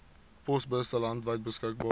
posbusse landwyd beskikbaar